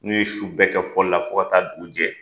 N'u ye su bɛɛ kɛ fɔli la fɔ ka taa dugu jɛ